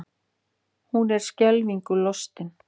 Hún er skelfingu lostin.